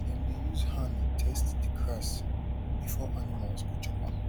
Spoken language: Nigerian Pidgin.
dem dey use hand test the grass before animals go chop am